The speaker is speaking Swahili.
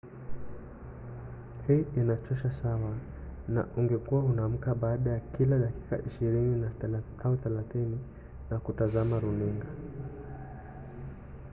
hii inachosha sawa na ungekuwa unaamka baada ya kila dakika ishirini au thelathini na kutazama runinga